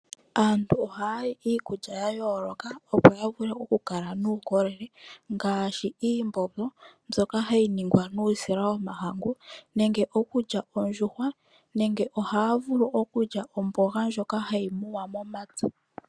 Aantu ohaya li iikulya ya yooloka opo ya vule okukala nuukolele, ngaashi iimbombo mbyoka hayi ningwa nuusila womahangu, nenge okulya ondjuhwa, nenge ohaya vulu okulya omboga ndjoka hayi muwa momapya.